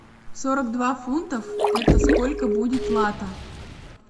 сорок два фунтов это сколько будет лата